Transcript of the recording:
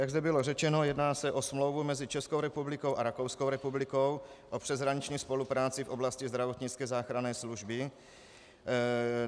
Jak zde bylo řečeno, jedná se o smlouvu mezi Českou republikou a Rakouskou republikou o přeshraniční spolupráci v oblasti zdravotnické záchranné služby.